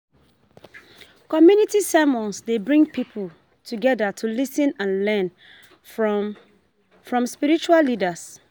Community sermons dey bring people together to lis ten and learn from from spiritual leaders.